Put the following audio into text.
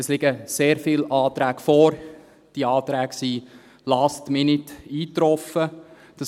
Es liegen sehr viele Anträge vor, die «last minute» eingetroffen sind.